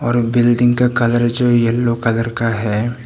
और बिल्डिंग का कलर जो येलो कलर का है।